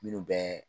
Minnu bɛ